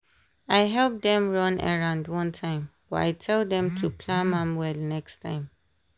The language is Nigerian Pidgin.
i help dem run errand one time but i tell dem to plam am well next time.